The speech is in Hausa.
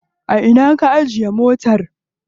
A ina ka ajiye motar?